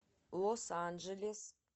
лос анджелес